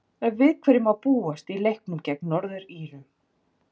En við hverju má búast í leiknum gegn Norður-Írum?